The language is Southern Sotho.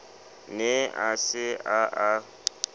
ne a se a a